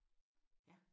Ja